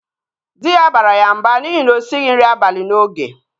Dị ya bara ya mba n'ihi na osighi nri abalị n'oge